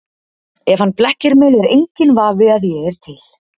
Ef hann blekkir mig er enginn vafi að ég er til.